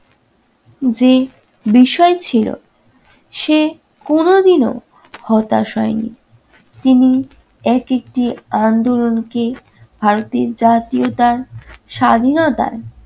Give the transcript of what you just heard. যে বিষয় ছিল সে কোনদিনও হতাশ হয় নি। তিনি একেকটি আন্দোলনকে ভারতের জাতীয়তা-স্বাধীনতার